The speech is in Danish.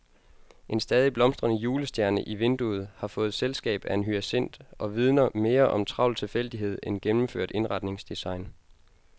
En stadig blomstrende julestjerne i vinduet har fået selskab af en hyacint og vidner mere om travl tilfældighed end gennemført indretningsdesign.